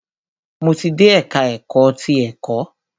Mo ti dé ẹka ẹ̀kọ́ ti ẹ̀kọ́.